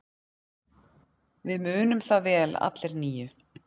Við munum það vel allir níu.